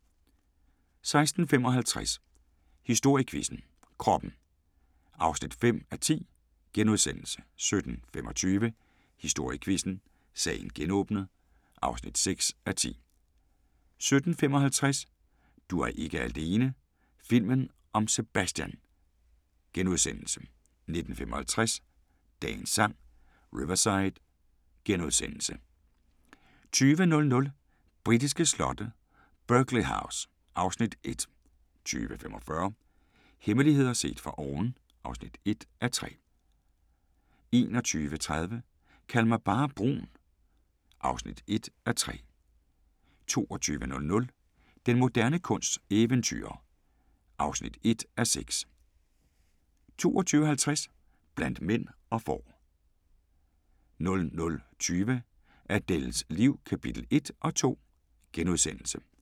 16:55: Historiequizzen: Kroppen (5:10)* 17:25: Historiequizzen: Sagen genåbnet (6:10) 17:55: Du er ikke alene - filmen om Sebastian * 19:55: Dagens Sang: Riverside * 20:00: Britiske slotte: Burghley House (Afs. 1) 20:45: Hemmeligheder set fra oven (1:3) 21:30: Kald mig bare brun (1:3) 22:00: Den moderne kunsts eventyrer (1:6) 22:50: Blandt mænd og får 00:20: Adèles liv – kapitel 1 og 2 *